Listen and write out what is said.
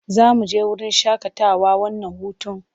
Za mu je wurin shaƙatawa wannan hutun?